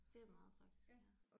Det er meget praktisk ja